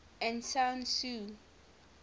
aung san suu